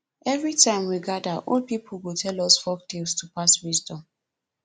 every time we gather old people go tell us folktales to pass wisdom